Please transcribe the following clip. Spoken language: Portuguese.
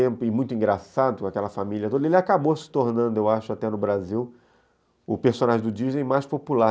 e muito engraçado com aquela família toda, ele acabou se tornando, eu acho, até no Brasil, o personagem do Disney mais popular.